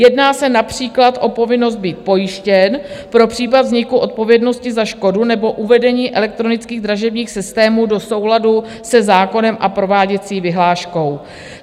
Jedná se například o povinnost být pojištěn pro případ vzniku odpovědnosti za škodu nebo uvedení elektronických dražebních systémů do souladu se zákonem a prováděcí vyhláškou.